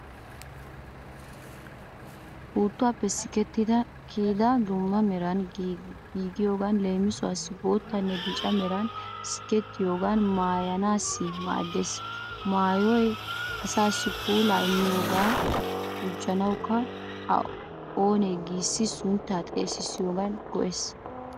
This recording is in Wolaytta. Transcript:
Puuttuwaappe sikettidi kiyidi dumma meran giigiyogan leemisuwaassi boottanne bica meran sikettiyoogan maayyanaassi maaddeees. Maayyoy asaassi puulaa immiyogan gujuwankka o na'ee giissi sunttaa xeesissiyoogan go'ees